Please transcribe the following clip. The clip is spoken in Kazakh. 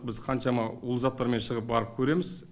біз қаншама улы заттармен шығып барып көреміз